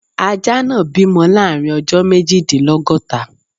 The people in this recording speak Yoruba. Ajá náà bímọ láàrin ọjọ́ méjìdínlọ́góta.